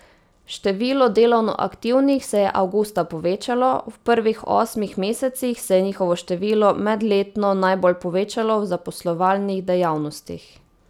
Število delovno aktivnih se je avgusta povečalo, v prvih osmih mesecih se je njihovo število medletno najbolj povečalo v zaposlovalnih dejavnostih.